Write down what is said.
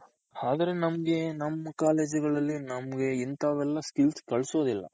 ಆದ್ರೆ ನಮ್ಗೆ ನಮ್ college ಗಳಲ್ಲಿ ನಮ್ಗೆ ಇಂತವೆಲ್ಲ skills ಕಲ್ಸೋದಿಲ್ಲ